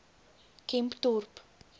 kempdorp